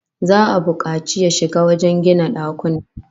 Za'a bukaci yashi wajen gina dakunan